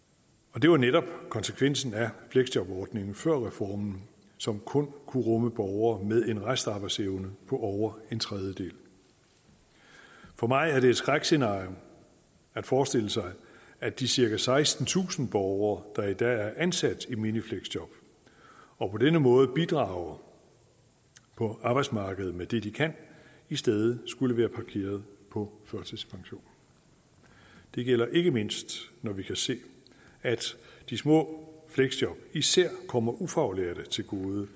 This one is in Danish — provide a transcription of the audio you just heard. det var netop konsekvensen af fleksjobordningen før reformen som kun kunne rumme borgere med en restarbejdsevne på over en tredjedel for mig er det et skrækscenarie at forestille sig at de cirka sekstentusind borgere der i dag er ansat i minifleksjob og på denne måde bidrager på arbejdsmarkedet med det de kan i stedet skulle være parkeret på førtidspension det gælder ikke mindst når vi kan se at de små fleksjob især kommer ufaglærte til gode